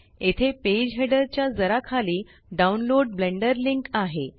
येथे page header च्या जरा खाली डाउनलोड ब्लेंडर लिंक आहे